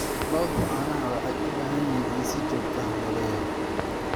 Lo'da caanaha waxay u baahan yihiin in si joogto ah loogu yeero.